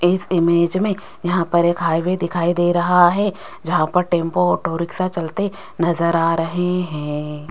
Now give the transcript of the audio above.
इस ईमेज में यहां पर हाईवे दिखाई दे रहा है जहां पर टेंपो ऑटो रिक्शा चलाते नजर आ रहे हैं।